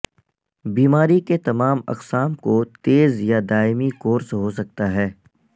بیماری کے تمام اقسام کو تیز یا دائمی کورس ہو سکتا ہے